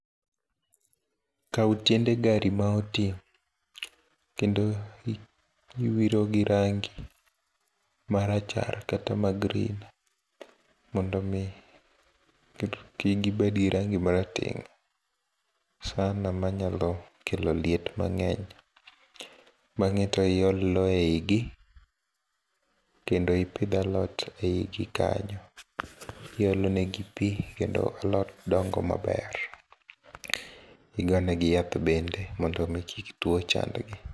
Kao tiende gari maoti, kendo iwirogi rangi marachar kata ma green mondomi kikgibedgi rangi marateng' sana manyalo kelo liet mang'eny. Bang'e to iolo lo eigi kendo ipidho alot eigi kanyo. Iolo negi pii kendo alot dongo maber, igonegi yath bende mondomi kik tuo ochandgi.